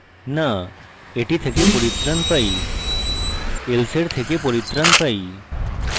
no এটি থেকে পরিত্রাণ পাই else এর থেকে পরিত্রাণ পাই